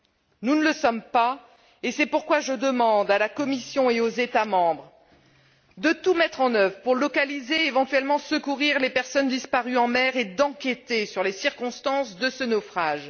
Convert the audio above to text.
Elle ne l'est pas, et c'est pourquoi je demande à la Commission et aux États membres premièrement, de tout mettre en œuvre pour localiser et, éventuellement, secourir les personnes disparues en mer, et d'enquêter sur les circonstances de ce naufrage